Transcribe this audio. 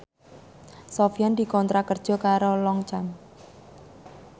Sofyan dikontrak kerja karo Longchamp